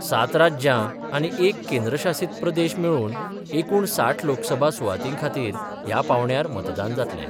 सात राज्यां आनी एक केंद्र शासित प्रदेश मेळुन एकुण साठ लोकसभा सुवातींखातीर ह्या पांवड्यार मतदान जातलें.